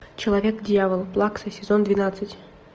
человек дьявол плакса сезон двенадцать